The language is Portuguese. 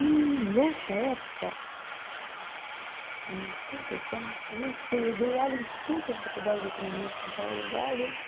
E nessa época, em oitenta e quatro, não sei, eu dei aula em tantas faculdades de economia de São Paulo, várias.